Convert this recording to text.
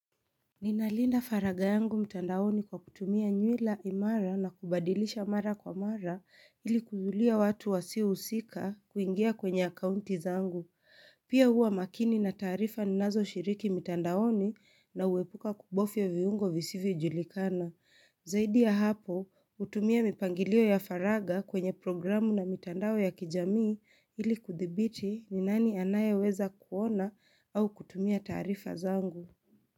Ninalinda faragha yangu mtandaoni kwa kutumia nywila imara na kubadilisha mara kwa mara ili kuzuilia watu wasiohusika kuingia kwenye akuanti zangu. Pia huwa makini na taarifa ninazoshiriki mtandaoni, na huepuka kubofya viungo visivyojulikana. Zaidi ya hapo, hutumia mipangilio ya faragha kwenye programu na mitandao ya kijamii, ili kudhibiti ni nani anayeweza kuona au kutumia taarifa zangu.